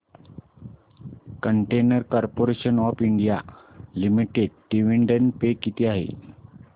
container corporation of India limited dividend पे किती आहे